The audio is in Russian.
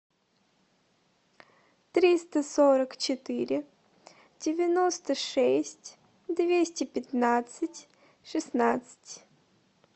триста сорок четыре девяносто шесть двести пятнадцать шестнадцать